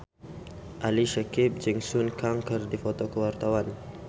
Ali Syakieb jeung Sun Kang keur dipoto ku wartawan